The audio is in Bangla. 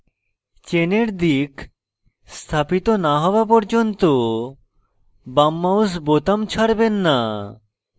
চেনের দিক স্থাপিত না হওয়া পর্যন্ত বাম mouse বোতাম ছাড়বেন না